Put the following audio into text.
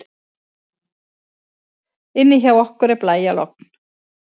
Inni hjá okkur er blæjalogn.